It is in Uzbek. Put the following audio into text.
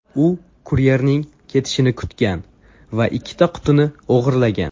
U kuryerning ketishini kutgan va ikkita qutini o‘g‘irlagan.